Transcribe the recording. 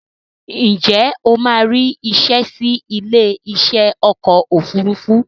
Ǹjẹ́ o máa rí isẹ́ sí ilé iṣẹ́ ọkọ̀ òfurufú